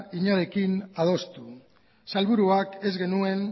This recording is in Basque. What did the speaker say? inorekin adostu sailburuak ez genuen